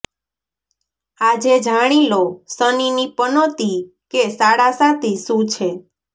આજે જાણી લો શનિની પનોતી કે સાડાસાતી શું છે